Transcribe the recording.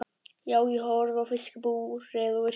Já, ég horfi á fiskabúrið og yrki.